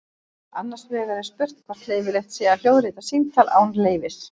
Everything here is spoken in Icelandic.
Annars vegar er spurt hvort leyfilegt sé að hljóðrita símtal án leyfis.